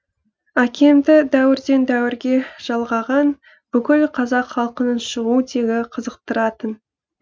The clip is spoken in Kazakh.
әкемді дәуірді дәуірге жалғаған бүкіл қазақ халқының шығу тегі қызықтыратын